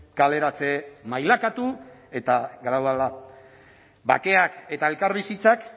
kaleratze mailakatu bakeak eta elkarbizitzak